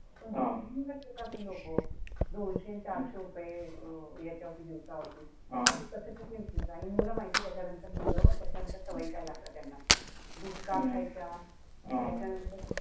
पण हि लोक. दोनशे न चारशे रुपये याच्यावरती दिवसावरती. हे कस किती विचित्र. आणि मुलं माहितीये त्याच्यानंतर मुलं नंतर सवयी काय लागतात त्यांना. घुटका खायचा, त्याच्यानंतर,